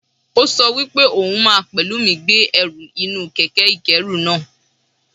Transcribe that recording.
Ó sọ wípé òhun máa pẹ̀lú mi gbé ẹrù inú kẹ̀kẹ́ ìkẹ́rù náa.